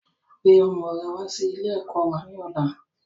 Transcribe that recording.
Gbe ọmọ rẹ wà sì ilé ẹ̀kọ́ wá ní ọ̀la!